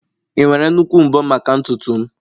ị nwere nnukwu mbo maka ntutu m?